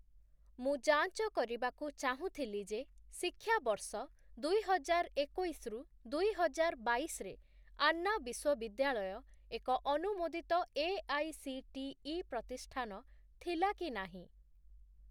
ମୁଁ ଯାଞ୍ଚ କରିବାକୁ ଚାହୁଁଥିଲି ଯେ ଶିକ୍ଷାବର୍ଷ ଦୁଇହଜାରଏକୋଇଶ ରୁ ଦୁଇହଜାରବାଇଶ ରେ ଆନ୍ନା ବିଶ୍ୱବିଦ୍ୟାଳୟ ଏକ ଅନୁମୋଦିତ ଏଆଇସିଟିଇ ପ୍ରତିଷ୍ଠାନ ଥିଲା କି ନାହିଁ?